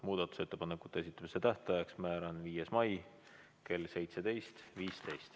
Muudatusettepanekute esitamise tähtajaks määran 5. mai kell 17.15.